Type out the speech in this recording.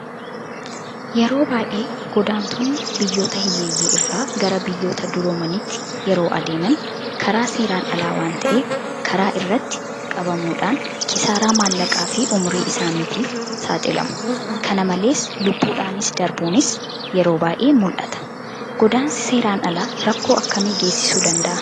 Yeroo baay'ee godaantonni biyyoota hiyyeeyyii irraa gara biyyoota duroomaniitti yeroo adeeman karaa seeraan alaa waanta'eef karaa irratti qabamuudhaan kisaaraa maallaqaafi ummurii isaaniitiif saaxilamu. Kana malees lubbuudhaan darbuunis yeroo baay'ee mul'ata. Godaansi seeraan alaa rakkoo akkamii gaassisuu danda'a?